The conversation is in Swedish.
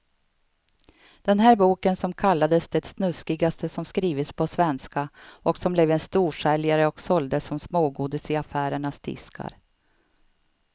Den där boken som kallades det snuskigaste som skrivits på svenska och som blev en storsäljare och såldes som smågodis i affärernas diskar.